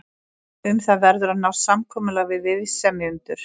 Um það verður að nást samkomulag við viðsemjendur.